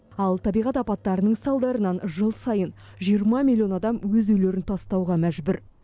ал табиғат апаттарының салдарынан жыл сайын жиырма миллион адам өз үйлерін тастауға мәжбүр